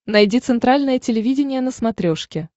найди центральное телевидение на смотрешке